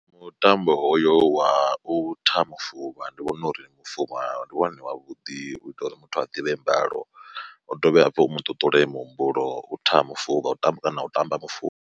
Mutambo hoyo wa u tha mufuvha ndi vhona uri mufuvha ndi wone wavhuḓi u ita uri muthu a ḓivhe mbalo u dovhe hafhu u mu ṱuṱule muhumbulo u tha mufuvha u tamba na u tamba mufuvha.